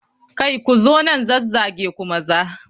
Kai! Ku zo nan zazzage ku maza.